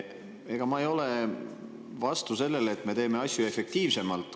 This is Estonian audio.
Ega ma ei ole vastu sellele, et me teeme asju efektiivsemalt.